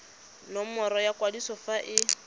nomoro ya kwadiso fa e